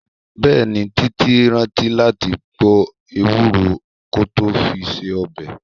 Bẹẹni, títí rántí láti gbo Ewúro kó tó fi se ọbẹ̀.